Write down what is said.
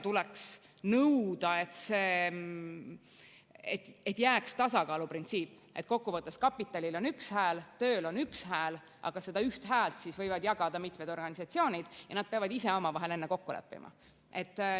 Tuleks nõuda, et jääks tasakaaluprintsiip, et kokkuvõttes kapitalil on üks hääl, tööl on üks hääl, aga seda ühte häält võivad jagada mitmed organisatsioonid ja nad peavad ise omavahel enne kokku leppima.